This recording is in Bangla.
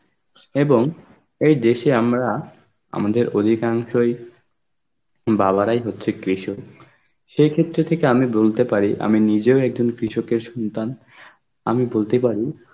এবং এই দেশে আমরা আমাদের অধিকাংশই বালারাই হচ্ছে কৃষক, সেই ক্ষেত্রে থেকে আমি বলতে পারি আমি নিজেও একজন কৃষকের সন্তান, আমি বলতে পারি